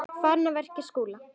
Farinn að verja Skúla!